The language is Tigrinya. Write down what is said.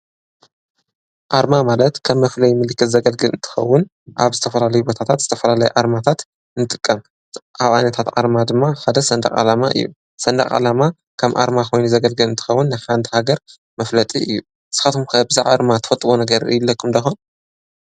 ኣርማ ማለት ከም መፍለይ ምልክት ዘገልግል እንተኸውን ኣብ ዝተፈላለየ ቦታት ዝተፈላለየ ኣርማታት ንጥቀም። ካብ ዓይነታት ኣርማ ድማ ሓደ ሰንደቅ ዓለማ እዩ። ሰንደቅ ዓለማ ከም ኣርማ ኮይኑ ዘገልግል እንትከውን ንሓንቲ ሃገር መፍለጢ እዩ። ንስካትኩም ከ ብዛዕባ ኣርማ ትፍልጥዎ ነገር ይህልዎኩም ደኮን?